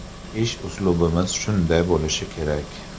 Ish uslubimiz shunday bo‘lishi kerak.